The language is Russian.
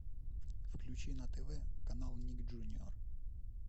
включи на тв канал ник джуниор